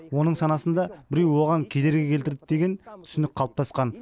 оның санасында біреу оған кедергі келтірді деген түсінік қалыптасқан